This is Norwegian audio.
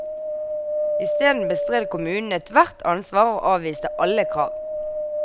I steden bestred kommunen ethvert ansvar og avviste alle krav.